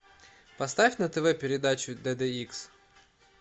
поставь на тв передачу дд икс